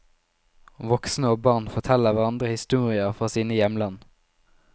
Voksne og barn forteller hverandre historier fra sine hjemland.